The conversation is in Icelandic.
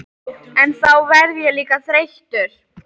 En þá verð ég líka þreyttur.